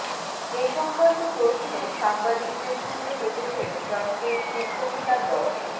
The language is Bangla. এ সংক্রান্ত প্রশ্নে সাংবাদিকদের সঙ্গে চটেছেন ফ্রন্টের শীর্ষনেতা ড